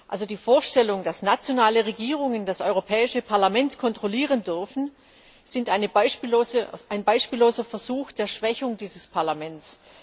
Also die Vorstellung, dass nationale Regierungen das Europäische Parlament kontrollieren dürfen, ist ein beispielloser Versuch der Schwächung dieses Parlaments.